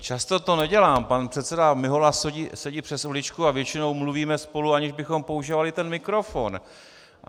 Často to nedělám, pan předseda Mihola sedí přes uličku a většinou mluvíme spolu, aniž bychom používali ten mikrofon.